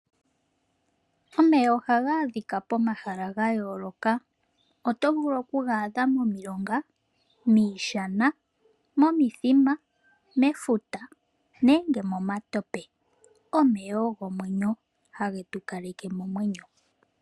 Omeya ohaga adhika pomahala gayooloka oto vulu okuga adha momilonga, miishana, momithima, mefuta nenge momatope. Omeya ogo omwenyo hagetu kaleke nomwenyo.